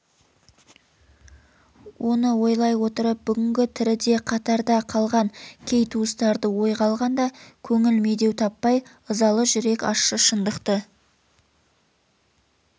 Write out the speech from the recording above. оны ойлай отырып бүгінгі тіріде қатарда қалған кей туыстарды ойға алғанда көңіл медеу таппай ызалы жүрек ащы шындықты